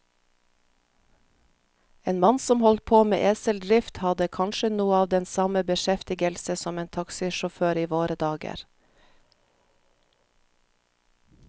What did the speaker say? En mann som holdt på med eseldrift, hadde kanskje noe av den samme beskjeftigelse som en taxisjåfør i våre dager.